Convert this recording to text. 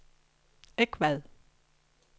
Egvad